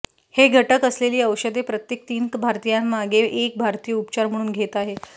हे घटक असलेली औषधे प्रत्येक तीन भारतीयांमागे एक भारतीय उपचार म्हणून घेत आहे